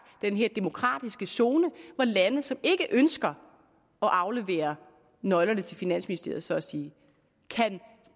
den her demokratiske zone hvor lande som ikke ønsker at aflevere nøglerne til deres finansministerie så at sige kan